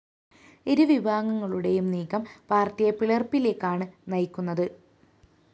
ഇരുവിഭാഗങ്ങളുടെയും നീക്കം പാര്‍ട്ടിയെ പിളര്‍പ്പിലേക്കാണ്‌ നയിക്കുന്നത്‌